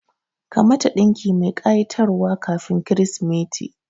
Ka mata ɗinki mai ƙa'itar wa kafin kirismeti